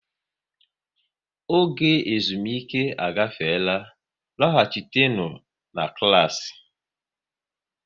Oge ezumike agafeela, lọghachinu na klassị!